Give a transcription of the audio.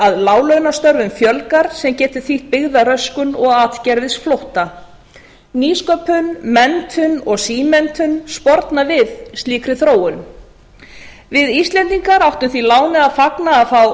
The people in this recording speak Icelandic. að láglaunastörfum fjölgar sem getur þýtt byggðaröskun og atgervisflótta nýsköpun menntun og símenntun sporna við slíkri þróun við íslendingar áttum því láni að fagna að